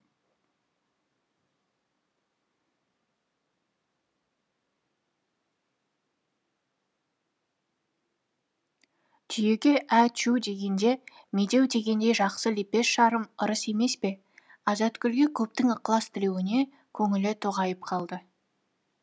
түйеге ә чү дегенде медеу дегендей жақсы лепес жарым ырыс емес пе азатгүлде көптің ықылас тілеуіне көңілі тоғайып қалды